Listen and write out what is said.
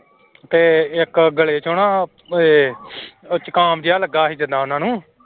ਤੇ ਇੱਕ ਗਲੇ ਚੋਂ ਨਾ ਇਹ ਜੁਕਾਮ ਜਿਹਾ ਲੱਗਾ ਸੀ ਜਿੱਦਾਂ ਉਹਨਾਂ ਨੂੰ।